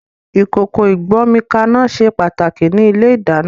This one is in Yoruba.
Ìkòkò ìgbómikaná ṣe pàtàkì ní ilé-ìdáná